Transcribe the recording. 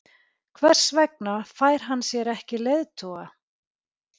Hver vegna fær hann sér ekki leiðtoga?